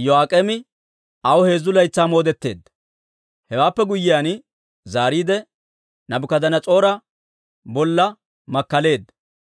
Iyo'aak'eemi aw heezzu laytsaa moodetteedda. Hewaappe guyyiyaan zaariide, Naabukadanas'oora bolla makkaleedda.